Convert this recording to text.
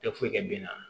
Tɛ foyi kɛ bi na